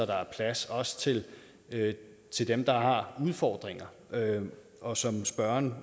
der er plads også til til dem der har udfordringer og som spørgeren